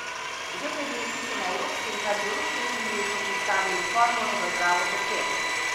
Že pred leti so na evropskem kardiološkem kongresu predstavili formulo za zdravo srce.